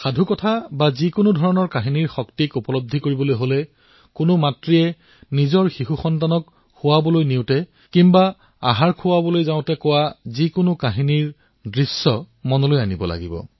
সাধুৰ শক্তি অনুভূত কৰিবলৈ হলে যেতিয়া কোনো মাকে নিজৰ সৰু সন্তানক শোৱাবলৈ অথবা তাক খাদ্য খুৱাবলৈ সাধু শুনায় সেয়া প্ৰত্যক্ষ কৰক